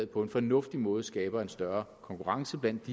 på en fornuftig måde skaber en større konkurrence blandt